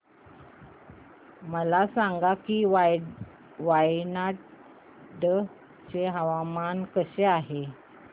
मला सांगा की वायनाड चे हवामान कसे आहे